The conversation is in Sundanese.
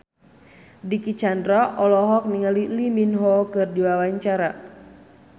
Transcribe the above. Dicky Chandra olohok ningali Lee Min Ho keur diwawancara